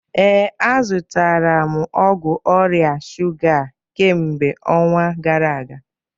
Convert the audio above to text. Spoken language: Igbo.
Ee, azụrụ m ọgwụ ọrịa shuga a kemgbe ọnwa gara aga